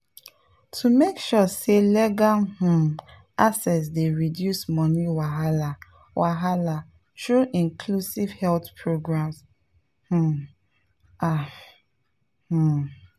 to make sure say legal um access dey reduce money wahala wahala through inclusive health programs pause ah. um